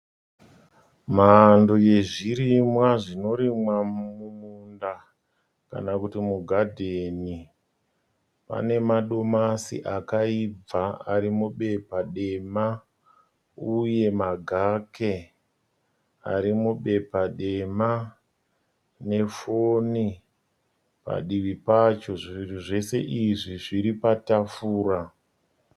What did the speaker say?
Mhando yezvirimwa zvinorimwa mumunda kana kuti mugadheni. Pane madomasi akaibva ari mubepa dema uye magake arimubepa dema nefoni padivi pacho. Zvinhu zvose izvi zviri patafura.